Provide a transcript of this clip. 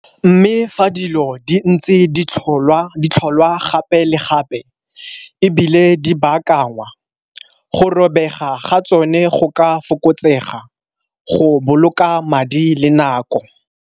Mme, fa dilo di ntse di tlholwa gape le gape e bile di baakangwa, go robega ga tsone go ka fokotsega go boloka madi le nako.